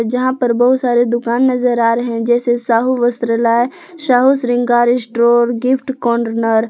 जहां पर बहुत सारे दुकान नजर आ रहे हैं जैसे साहू वस्त्रालय साहू श्रृंगार स्टोर गिफ्ट कोंडनर ।